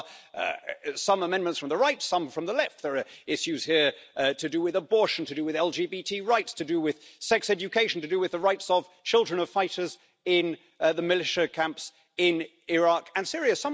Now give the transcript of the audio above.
There are some amendments from the right, some from the left, there are issues here to do with abortion, to do with LGBT rights, to do with sex education, to do with the rights of children of fighters in the militia camps in Iraq and Syria.